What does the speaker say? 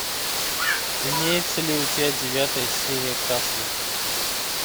имеется ли у тебя девятая серия касл